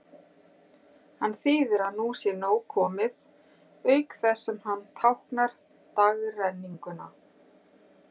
Hann þýðir að nú sé nóg komið, auk þess sem hann táknar dagrenninguna.